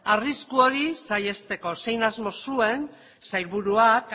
arrisku hori saihesteko zein asmo zuen sailburuak